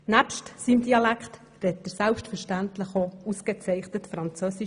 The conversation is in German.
Neben seinem Dialekt spricht er selbstverständlich auch ausgezeichnet Französisch.